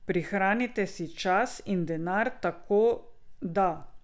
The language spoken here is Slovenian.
Prihranite si čas in denar tako, da ...